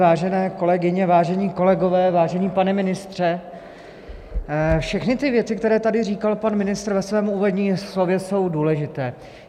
Vážené kolegyně, vážení kolegové, vážený pane ministře, všechny ty věci, které tady říkal pan ministr ve svém úvodním slově, jsou důležité.